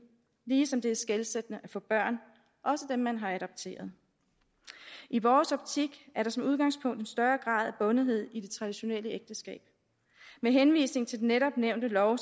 ligesom det er skelsættende at få børn også dem man har adopteret i vores optik er der som udgangspunkt en større grad af bundethed i det traditionelle ægteskab med henvisning til den netop nævnte lov